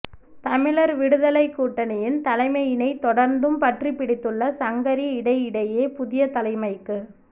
தமிழர் விடுதலைக்கூட்டணியின் தலைமையினை தொடர்ந்தும் பற்றிப்பிடித்துள்ள சங்கரி இடையிடையே புதிய தலைமைக்கு